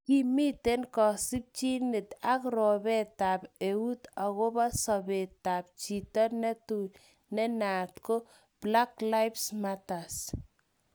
Kimite kosimchinet ak ropeetab eun akopo sobetab jiton netui ne naat ko# BlacklivesMatters